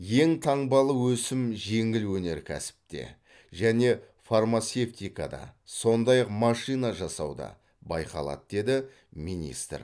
екі таңбалы өсім жеңіл өнеркәсіпте және фармацевтикада сондай ақ машина жасауда байқалады деді министр